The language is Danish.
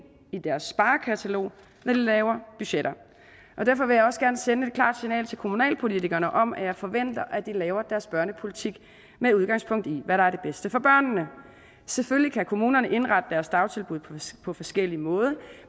i deres sparekatalog når de laver budgetter derfor vil jeg også gerne sende et klart signal til kommunalpolitikerne om at jeg forventer at de laver deres børnepolitik med udgangspunkt i hvad der er det bedste for børnene selvfølgelig kan kommunerne indrette deres dagtilbud på forskellige måder